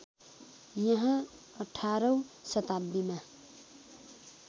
यहाँ अठारौँ शताब्दीमा